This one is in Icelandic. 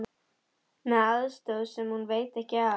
Með aðstoð sem hún veit ekki af.